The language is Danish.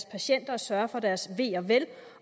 patienterne og sørge for deres ve og vel